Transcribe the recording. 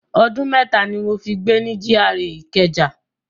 Ọdún mẹ́ta ni mo fi gbé ni GRA Ìkẹjà.